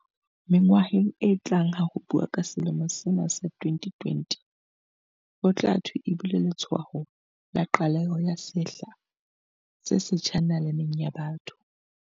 Mengwaheng e tlang ha ho buuwa ka selemo sena sa 2020, ho tla thwe e bile letshwao la qaleho ya sehla se setjha na-laneng ya botho.